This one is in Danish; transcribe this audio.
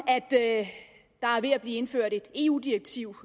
at der er ved at blive indført et eu direktiv